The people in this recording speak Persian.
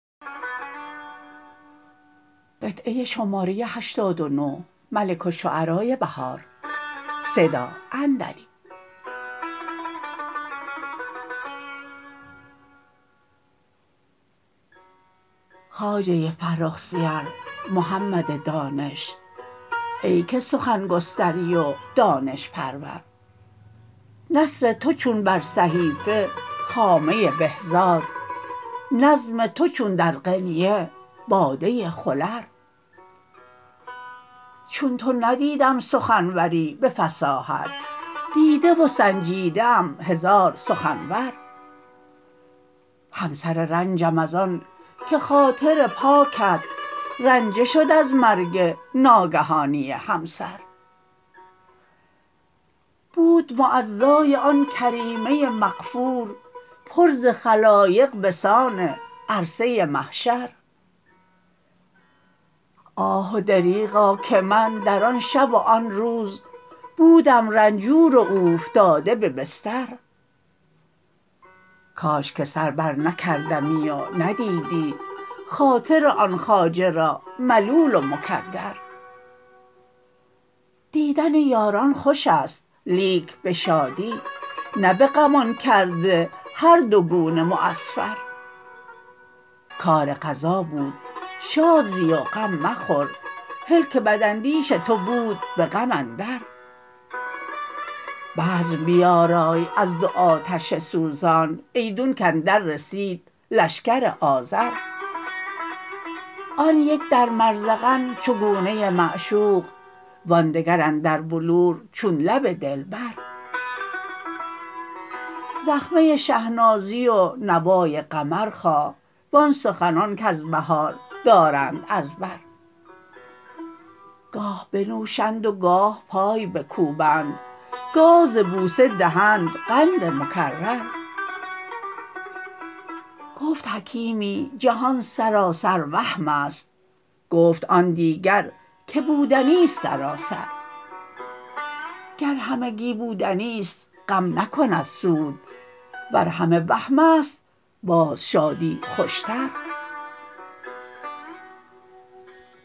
خواجه فرخ سیر محمد دانش ای که سخن گستری و دانش پرور نثر تو چون بر صحیفه خامه بهزاد نظم تو چون در قنینه باده خلر چون تو ندیدم سخنوری به فصاحت دیده و سنجیده ام هزار سخنور همسر رنجم از آن که خاطر پاکت رنجه شد از مرگ ناگهانی همسر بود معزای آن کریمه مغفور پر ز خلایق بسان عرصه محشر آه و دریغا که من در آن شب و آن روز بودم رنجور و اوفتاده به بستر کاش که سر برنکردمی و ندیدی خاطر آن خواجه را ملول و مکدر دیدن یاران خوشست لیک به شادی نه بغمان کرده هر دو گونه معصفر کار قضا بود شاد زی و مخور غم هل که بداندیش تو بود به غم اندر بزم بیارای از دو آتش سوزان ایدون کاندر رسید لشکر آذر آن یک در مرزغن چو گونه معشوق وان دگر اندر بلور چون لب دلبر زخمه شهنازی و نوای قمر خواه وان سخنان کز بهار دارند از بر گاه بنوشند و گاه پای بکوبند گاه ز بوسه دهند قند مکرر گفت حکیمی جهان سراسر وهم است گفت آن دیگر که بودنی است سراسر گر همگی بودنی است غم نکند سود ور همه وهم است باز شادی خوش تر